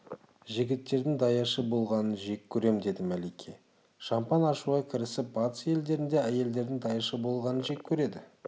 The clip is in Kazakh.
жігіттердің даяшы болғанын жек көрем деді мәлике шампан ашуға кірісіп батыс елдерінде әйелдердің даяшы болғанын жек көреді